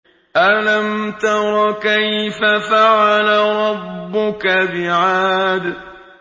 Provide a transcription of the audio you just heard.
أَلَمْ تَرَ كَيْفَ فَعَلَ رَبُّكَ بِعَادٍ